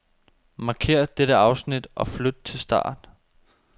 Markér dette afsnit og flyt til start.